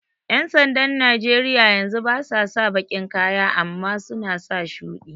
ƴan sandan Najeriya yanzu basa sa baƙin kaya amma suna sa shuɗi